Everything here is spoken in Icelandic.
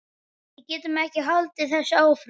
Við getum ekki haldið þessu áfram.